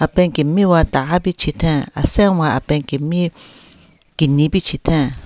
Pen kemiwa taa pichetheng asenwa apen kemi keni pichetheng.